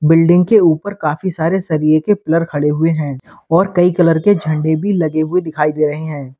Building के ऊपर काफी सारे सरिए के पिलर खड़े हुए हैं और कई कलर के झंडे भी लगे हुए दिखाई दे रहे हैं।